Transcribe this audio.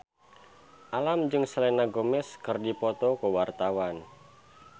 Alam jeung Selena Gomez keur dipoto ku wartawan